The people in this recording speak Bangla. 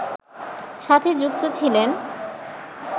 সাথে যুক্ত ছিলেন